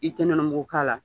I tɛ nɔnɔ mugu k'a la